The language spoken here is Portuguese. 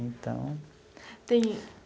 Então... Tem...